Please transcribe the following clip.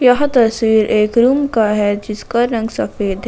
यह तस्वीर एक रूम का है जिसका रंग सफेद है।